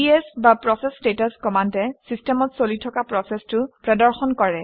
PS বা process status কমাণ্ডে চিষ্টেমত চলি থকা প্ৰচেচটো প্ৰদৰ্শন কৰে